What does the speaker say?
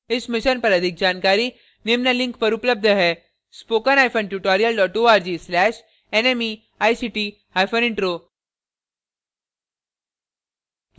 इस mission पर अधिक जानकारी निम्न लिंक पर उपलब्ध है